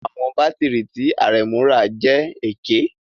Àwọn bátìrì tí Aremu rà jẹ́ èké